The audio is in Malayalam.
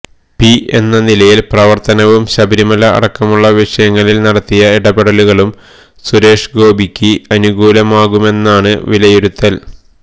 പി എന്ന നിലയിലെ പ്രവര്ത്തനവും ശബരിമല അടക്കമുള്ള വിഷയങ്ങളില് നടത്തിയ ഇടപെടലുകളും സുരേഷ് ഗോപിക്ക് അനുകൂലമാകുമെന്നാണ് വിലയിരുത്തല്